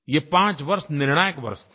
ये पाँच वर्ष निर्णायक वर्ष थे